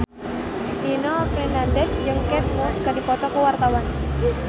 Nino Fernandez jeung Kate Moss keur dipoto ku wartawan